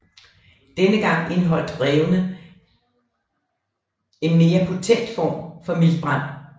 Denne gang indeholdt brevene en mere potent form for miltbrand